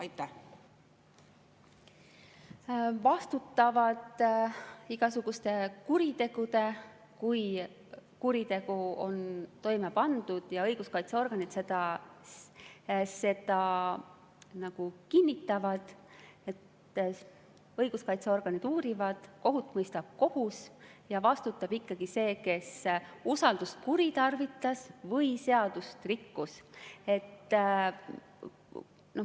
Igasuguste kuritegude korral, kui kuritegu on toime pandud ja õiguskaitseorganid seda kinnitavad – õiguskaitseorganid uurivad ja kohut mõistab kohus –, vastutab ikkagi see, kes usaldust kuritarvitas ja seadust rikkus.